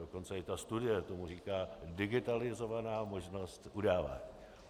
Dokonce i ta studie tomu říká "digitalizovaná možnost udávání".